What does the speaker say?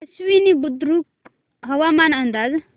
आश्वी बुद्रुक हवामान अंदाज